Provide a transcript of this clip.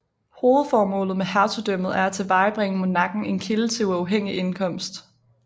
Hovedformålet med hertugdømmet er at tilvejebringe monarken en kilde til uafhængig indkomst